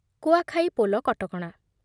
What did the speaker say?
କୁଆଖାଇ ପୋଲ କଟକଣା